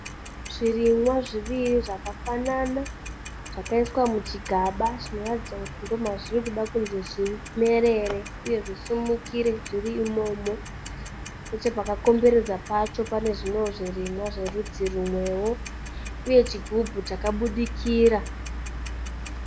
Zvirimwa zviviri zvakafanana zvakaiswa muchigaba zvinoratidza kuti ndomazviri kuda kuti zvimerere uye zvisimukire zviri imomo. Nechepakakomberedza pacho panewo zvimwe zvirimwa zverudzi rumwewo uye chigubhu chakabudikira.